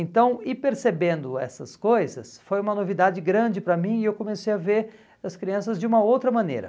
Então, ir percebendo essas coisas foi uma novidade grande para mim e eu comecei a ver as crianças de uma outra maneira.